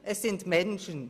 – Es sind Menschen!